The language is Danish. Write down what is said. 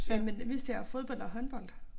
Jamen vi ser fodbold og håndbold